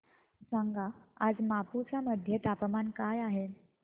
सांगा आज मापुसा मध्ये तापमान काय आहे